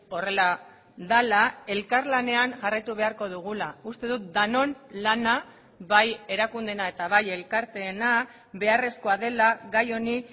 horrela dela elkarlanean jarraitu beharko dugula uste dut denon lana bai erakundeena eta bai elkarteena beharrezkoa dela gai honi